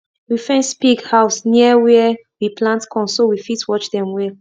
we fence pig house near where we plant corn so we fit watch dem well